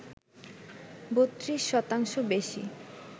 ৩২ শতাংশ বেশি